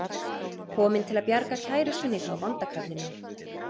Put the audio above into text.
Kominn til að bjarga kærustunni frá vonda kallinum.